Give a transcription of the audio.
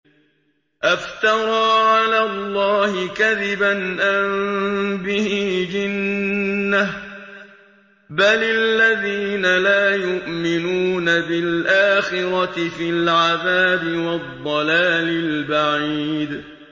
أَفْتَرَىٰ عَلَى اللَّهِ كَذِبًا أَم بِهِ جِنَّةٌ ۗ بَلِ الَّذِينَ لَا يُؤْمِنُونَ بِالْآخِرَةِ فِي الْعَذَابِ وَالضَّلَالِ الْبَعِيدِ